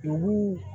Dugu